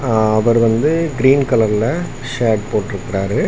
ஆ அவர் வந்து கிரீன் கலர்ல ஷர்ட் போட்ருக்றாரு.